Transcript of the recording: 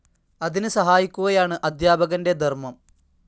അതിന് സഹായിക്കുകയാണ് അധ്യാപകന്റെ ധർമം.